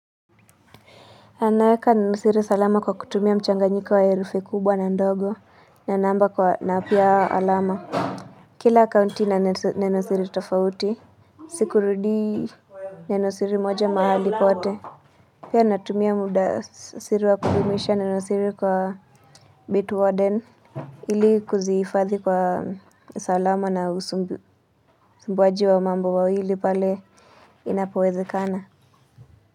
Naweka neno siri salama kwa kutumia mchanganyiko wa herufi kubwa na ndogo na namba na pia alama. Kila akaunti na nenosiri tofauti. Sikurudii nenosiri moja mahali pote. Pia natumia muda siri wa kudumisha nenosiri kwa Bitwarden. Ili kuzifadhi kwa salama na usumbuwaji wa mambo mawili pale inapowezekana.